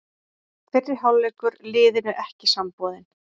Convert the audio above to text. Fyrri hálfleikur liðinu ekki samboðinn